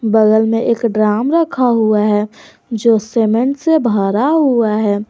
बगल में एक ड्राम रखा हुआ है जो सीमेंट से भरा हुआ है।